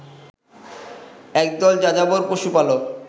একদল যাযাবর পশুপালক